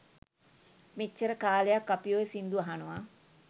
මෙච්චර කාලයක් අපි ඔය සිංදු අහනව